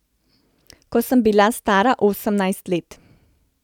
Ko sem bila stara osemnajst let.